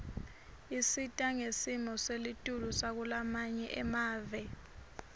isita ngesimo selitulu sakulamanye emave